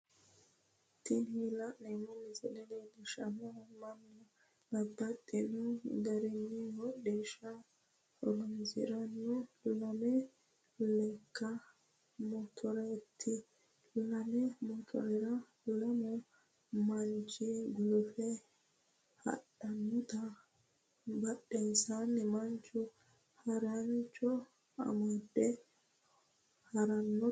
Tini la'neemo misile leellishanohu mannu babaxxino garinni hodishaho horonisirano lame leka motoreeti, lame motorera lamu manchi gulufe hadhanotta badheensanni manchu haricho amade haranotta leellishano